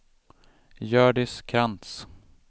Hjördis Krantz